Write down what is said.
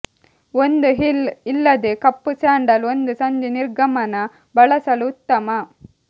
ಒಂದು ಹೀಲ್ ಇಲ್ಲದೆ ಕಪ್ಪು ಸ್ಯಾಂಡಲ್ ಒಂದು ಸಂಜೆ ನಿರ್ಗಮನ ಬಳಸಲು ಉತ್ತಮ